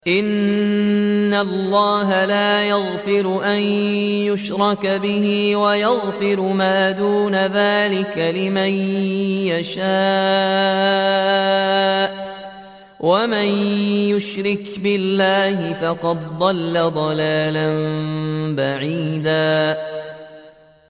إِنَّ اللَّهَ لَا يَغْفِرُ أَن يُشْرَكَ بِهِ وَيَغْفِرُ مَا دُونَ ذَٰلِكَ لِمَن يَشَاءُ ۚ وَمَن يُشْرِكْ بِاللَّهِ فَقَدْ ضَلَّ ضَلَالًا بَعِيدًا